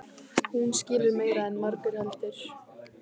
Hún skilur meira en margur heldur.